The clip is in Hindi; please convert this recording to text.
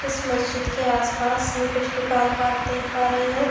इस मस्जिद के आसपास हम कुछ दुकान पाठ देख पा रहे है।